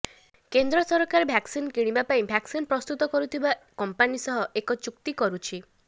କେନ୍ଦ୍ର ସରକାର ଭ୍ୟାକସିନ କିଣିବା ପାଇଁ ଭ୍ୟାକସିନ ପ୍ରସ୍ତୁତ କରୁଥିବା କମ୍ପାନୀ ସହ ଏକ ଚୁକ୍ତି କରୁଛି